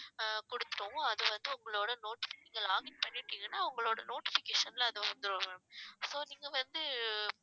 அஹ் கொடுத்துருவோம் அது வந்து உங்களோட noti~ நீங்க login பண்ணிட்டீங்கன்னா உங்களோட notification ல அது வந்துரும் ma'am so நீங்க வந்து